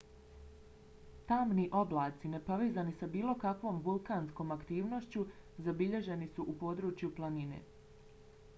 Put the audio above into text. tamni oblaci nepovezani sa bilo kakvom vulkanskom aktivnošću zabilježeni su u podnožju planine